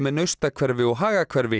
Naustahverfi og